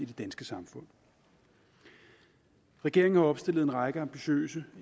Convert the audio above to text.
det danske samfund regeringen har opstillet en række ambitiøse